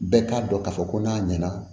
Bɛɛ k'a dɔn k'a fɔ ko n'a ɲɛna